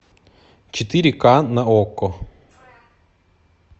четыре ка на окко